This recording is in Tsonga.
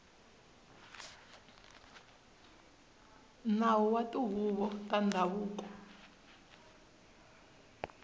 nawu wa tihuvo ta ndhavuko